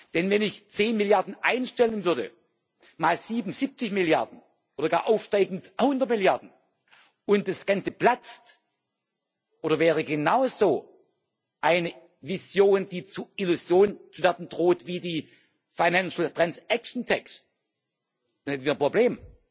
Denn wenn ich zehn Milliarden einstellen würde, mal 77 Milliarden oder gar aufsteigend 100 Milliarden, und das Ganze platzt oder wäre genauso eine Vision, die zur Illusion werden droht wie die Finanztransaktionssteuer, dann hätten wir ein Problem.